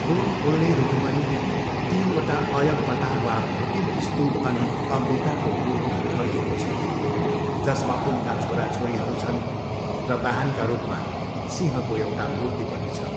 फुल फुल्ने रूखमुनि तिनवटा अयगपता वा भोटिभ स्तूप अनि अम्बिकाको मूर्ति ठडिएको छ, जसमा उनका छोराछोरीहरू छन् र वाहनका रूपमा सिंहको एउटा मूर्ति पनि छ।